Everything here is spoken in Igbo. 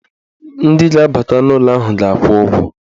Ndị ga-abata n'ụlọ ahụ ga-akwụ ụgwọ.